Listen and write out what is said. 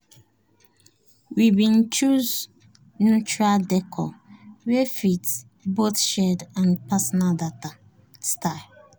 we been choose neutral décor wey fit both shared and personal style